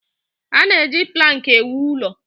A na-eji plankị ewu ụlọ.